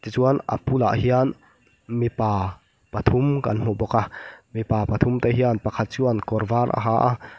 tichuan a bulah hian mipa pathum kan hmu bawk a mipa pathum te hian pakhat chuan kawr var a ha a --